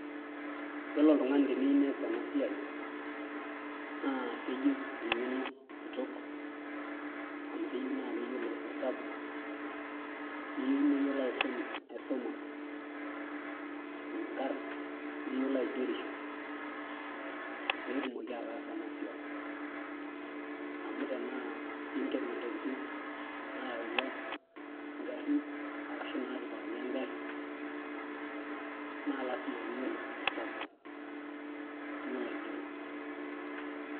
iyiolo oltungani teneyieu nees ena siai na keyieu eng'eno kitok. amu keyieu naa keyiolo esabu, neyieu neyiolo aisuma, ikarna, neyiolo aigerisho pee etumoki ataasa ena siai, amu tenaa inken intokitin nayutua ngarin ,ashu natipikaki egari lasima pee iyiolo esabu niyiolo aigero.